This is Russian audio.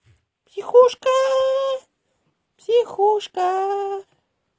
психушка психушка